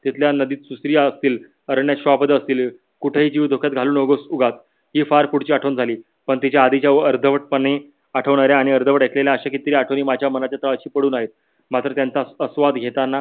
तिथल्या नदीत असतील. अरण्यात श्वापड असतील. कुठेही जीव धोक्यात घालू नकोस उगाच ही फार पुढची आठवण झाली. पन तिच्या आधीच्या व अर्धवट पणे आठवणाऱ्य आणि अर्धवट आठवणाऱ्या अश्या कीती तरी आठवणी माझ्या मनाच्या तलाशी पडून आहेत. मात्र त्यांचा आस्वाद घेतांना